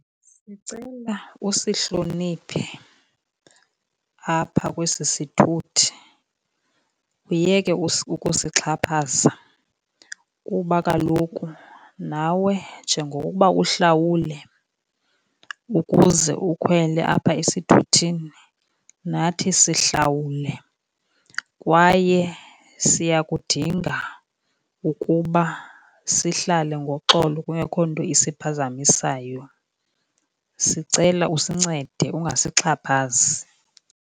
Sicela usihloniphe apha kwesi sithuthi uyeke ukusixhaphaza kuba kaloku nawe njengokuba uhlawule ukuze ukhwele apha esithuthini, nathi sihlawule kwaye siyakudinga ukuba sihlale ngoxolo kungekho nto isiphazamisayo. Sicela usincede ungasixhaphazi.